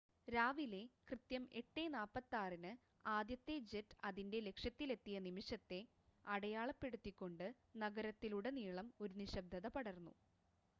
രാവിലെ കൃത്യം 8:46-ന് ആദ്യത്തെ ജെറ്റ് അതിന്റെ ലക്ഷ്യത്തിലെത്തിയ നിമിഷത്തെ അടയാളപ്പെടുത്തിക്കൊണ്ട് നഗരത്തിലുടനീളം ഒരു നിശബ്‌ദത പടർന്നു